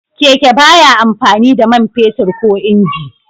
Keke ba ya amfani da man fetur ko inji.